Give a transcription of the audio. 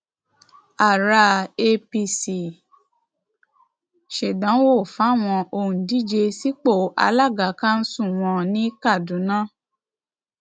ara apc ṣèdánwò fáwọn òǹdíje sípò alága kanṣu wọn ní kaduna